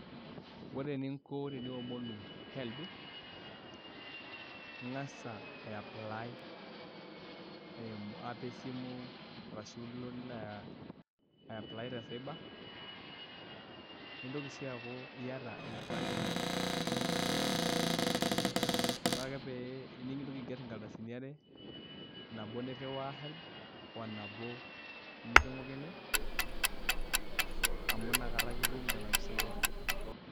Ore eninko teniomonu HELB ing'as aiapply eimu app esimu arashu ilo nilo aa aiapply te cyber nintoki sii aaku iaita enkipande ino, ore ake pee nintoki aigerr nkardasini are nabo nirriwaa HELB o nabo niking'uikini amu nakata ake itum nena pisaai e HELB.